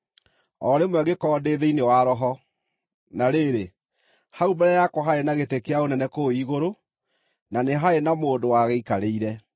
O rĩmwe ngĩkorwo ndĩ thĩinĩ wa Roho, na rĩrĩ, hau mbere yakwa harĩ na gĩtĩ kĩa ũnene kũu igũrũ, na nĩ harĩ na mũndũ wagĩikarĩire.